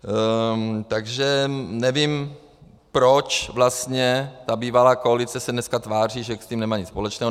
Takže nevím, proč vlastně ta bývalá koalice se dnes tváří, že s tím nemá nic společného.